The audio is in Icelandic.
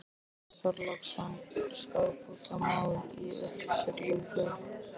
Björn Þorláksson: Skaðabótamál í uppsiglingu?